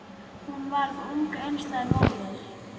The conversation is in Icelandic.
Hún varð ung einstæð móðir.